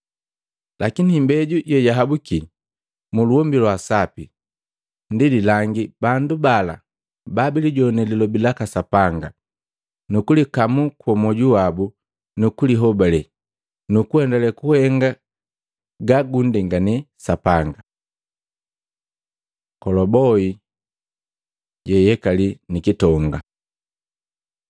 Lakini imbeju yeyahabuki muluhombi lwa sapi ndi jilangi bandu bala babilijone lilobi laka Sapanga nukulikamu kwa mwoju wabu nukulihobale, nukuendele kuhenga ga gundengane Sapanga. Kolobohi jeyekali nikitonga Maluko 4:21-25